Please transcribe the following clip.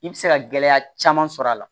I bɛ se ka gɛlɛya caman sɔrɔ a la